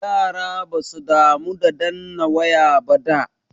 Yara basu damu da danna waya ba da.